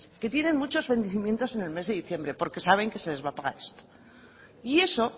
que tienen muchos vencimientos en el mes de diciembre porque saben que se les va a pagar esto y eso